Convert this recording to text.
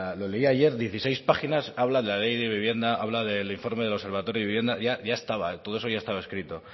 lo ley ayer dieciséis páginas hablan de la ley de vivienda habla del informe del observatorio de vivienda ya estaba todo eso ya estaba escrito